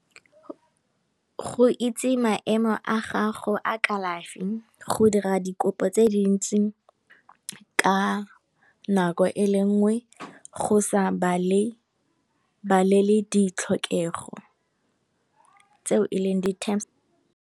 Go itse maemo a gago a kalafi go dira dikopo tse dintsi, ka nako e le nngwe go sa balele ditlhokego tse e leng di terms.